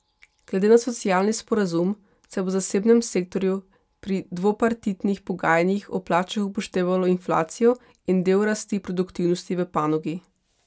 Glede na socialni sporazum se bo v zasebnem sektorju pri dvopartitnih pogajanjih o plačah upoštevalo inflacijo in del rasti produktivnosti v panogi.